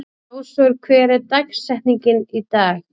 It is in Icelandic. Ásvör, hver er dagsetningin í dag?